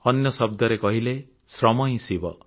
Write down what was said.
ଅନ୍ୟ ଶବ୍ଦରେ କହିଲେ ଶ୍ରମ ହିଁ ଶିବ